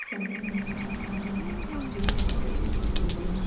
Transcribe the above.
सामने में बहुत सारे पेड़ पौधे दिखाई दे रहे हैं।